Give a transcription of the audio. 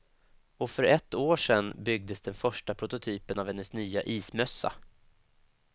Och för ett år sen byggdes den första prototypen av hennes nya ismössa.